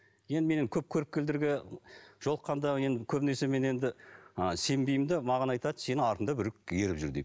енді менің көп көріпкелдерге жолыққанда енді көбінесе мен енді ы сенбеймін де маған айтады сенің артыңда біреу еріп жүр дейді